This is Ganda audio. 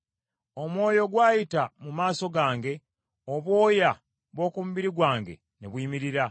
Omwoyo gw’ayita mu maaso gange, obwoya bw’oku mubiri gwange ne buyimirira.